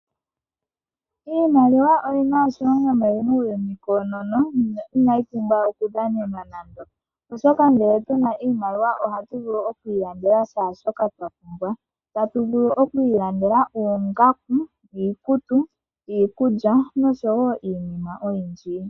Iimaliwa oyina oshilonga muuyino koonono inayi pumbwa okudhanenwa nando. Oshoka ngele tuna iimaliwa oha tu vulu oku ilandela shaa shoka twa pumbwa. Ta tu vulu okwiilandela oongaku, iikutu, iikulya nosho wo iinima oyindji.